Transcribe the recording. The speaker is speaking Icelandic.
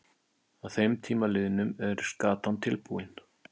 Að þeim tíma liðnum er skatan tilbúin.